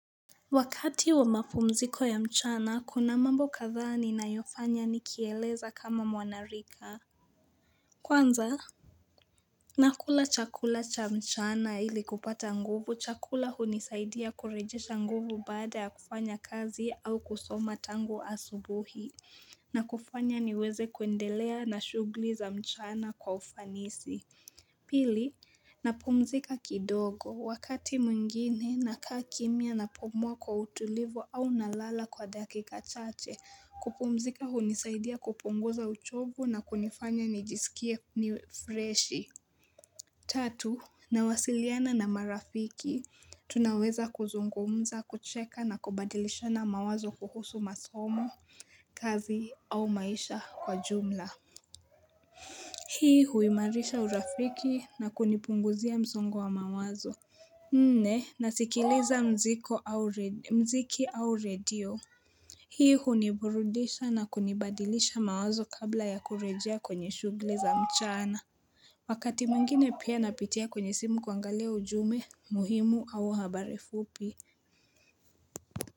Wakati wa mapumziko ya mchana, kuna mambo katha ninayofanya nikieleza kama mwanarika. Kwanza? Nakula chakula cha mchana ilikupata nguvu. Chakula hunisaidia kurejisha nguvu baada ya kufanya kazi au kusoma tangu asubuhi. Na kufanya niweze kuendelea na shughuli za mchana kwa ufanisi. Pili, napumzika kidogo wakati mwingine na kakimia napumwa kwa utulivu au nalala kwa dakika chache. Kupumzika hunisaidia kupunguza uchovu na kunifanya nijisikie niwefreshi. Tatu, nawasiliana na marafiki. Tunaweza kuzungumza, kucheka na kubadilisho na mawazo kuhusu masomo, kazi au maisha kwa jumla. Hii huimarisha urafiki na kunipunguzia msongo wa mawazo Ne nasikileza mziki au radio Hii huniburudisha na kunibadilisha mawazo kabla ya kurejea kwenye shugle za mchana Wakati mwingine pia napitia kwenye simu kuangalea ujume muhimu au habare fupi.